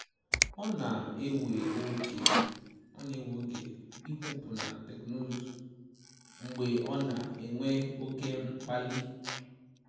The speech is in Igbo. Ọ na ewe oge ịkwụpụ na teknụzụ mgbe ọ na enwe oke mkpali